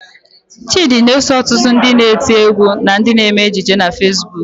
Chịdị na-eso ọtụtụ ndị na-eti égwú na ndị na-eme ejije na Fesbuk.